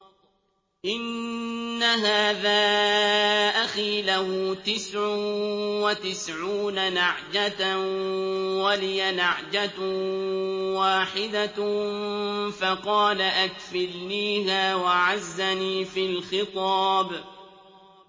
إِنَّ هَٰذَا أَخِي لَهُ تِسْعٌ وَتِسْعُونَ نَعْجَةً وَلِيَ نَعْجَةٌ وَاحِدَةٌ فَقَالَ أَكْفِلْنِيهَا وَعَزَّنِي فِي الْخِطَابِ